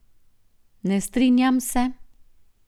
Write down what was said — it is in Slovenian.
Ne strinjam se.